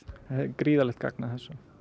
gríðarlegt gagn að þessu